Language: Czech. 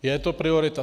Je to priorita?